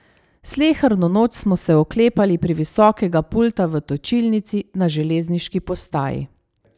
Sleherno noč smo se oklepali previsokega pulta v točilnici na železniški postaji.